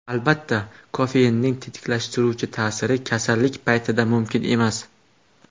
Albatta, kofeinning tetiklashtiruvchi ta’siri kasallik paytida mumkin emas.